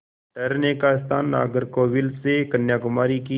ठहरने का स्थान नागरकोविल से कन्याकुमारी की